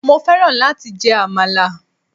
Mo fẹ́ran láti jẹ àmàlà.